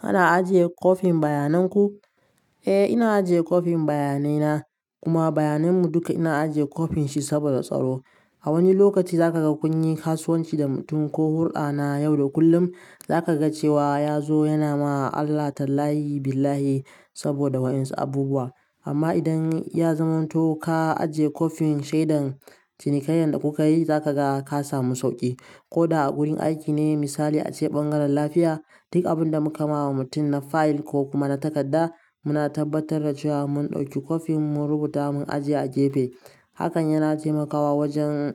Ana ajiye coping bayanan ku? Eh, ina ajiye coping bayanai na, kuma bayanan mu duka ina ajiye coping shi saboda tsaro. A wani lokaci za ka ga kun yi kasuwanci da mutum ko hulɗa na yau da kullum, za ka ga cewa ya zo yana ma Allah tallayi billahi saboda wa'insu abubuwa. Amma idan ya zamanto ka ajiye coping shaidan cinikayyan da kuka yi, za ka ga ka samu sauƙi. Ko da a gurin aiki ne, misali a ce ɓangaren lafiya, duk abin da muka ma wa mutum na file ko kuma na takadda, muna tabbatar da cewa mun ɗauki coping mun rubuta mun ajiye a gefe. Hakan yana taimakawa wajen